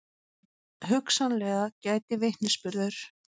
Hugsanlega gæti vitnisburður